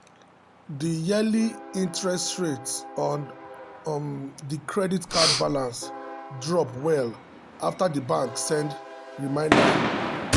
the yearly interest rate on um the credit card balance drop well after the bank send reminder notice.